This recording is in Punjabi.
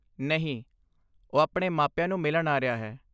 ਨਹੀਂ, ਉਹ ਆਪਣੇ ਮਾਪਿਆਂ ਨੂੰ ਮਿਲਣ ਆ ਰਿਹਾ ਹੈ।